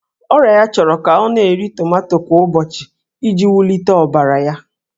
Ọrịa ya chọrọ ka ọ na-eri tomato kwa ụbọchị iji wulite ọbara ya.